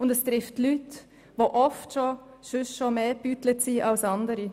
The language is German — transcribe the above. Es betrifft Leute, die schon oft mehr gebeutelt wurden als andere.